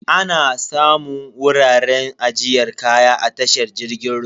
Ana samun wuraren ajiyar kaya a tashar jirgin ruwa.